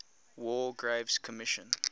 war graves commission